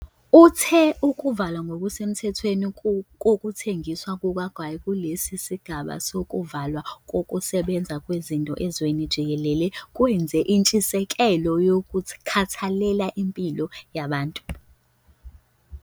Uthe ukuvalwa ngokusemthethweni kokuthengiswa kukagwayi kulesi sigaba sokuvalwa kokusebenza kwezinto ezweni jikelele kwenziwa ngentshisekelo yokukhathalela impilo yabantu bakithi.